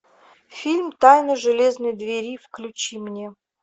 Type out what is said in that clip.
фильм тайна железно двери включи мне